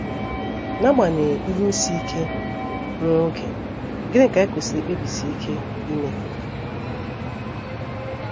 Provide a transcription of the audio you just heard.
N’agbanyeghị ihe isi ike nwa oge, gịnị ka anyị kwesịrị ikpebisi ike ime?